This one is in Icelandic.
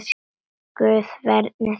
Guð verndi þig og geymi.